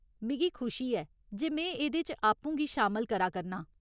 मिगी खुशी ऐ जे में एह्दे च आपूं गी शामल करा करनां।